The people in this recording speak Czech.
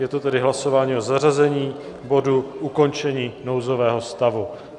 Je to tedy hlasování o zařazení bodu Ukončení nouzového stavu.